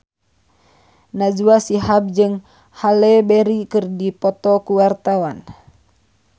Najwa Shihab jeung Halle Berry keur dipoto ku wartawan